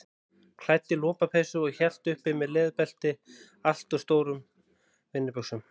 Klædd í lopapeysu og hélt uppi með leðurbelti allt of stórum vinnubuxum.